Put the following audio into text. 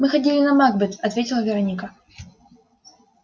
мы ходили на макбет ответила вероника